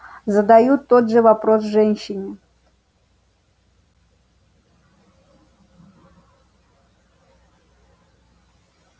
задают тот же вопрос женщине